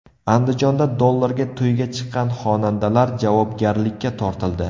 Andijonda dollarga to‘yga chiqqan xonandalar javobgarlikka tortildi.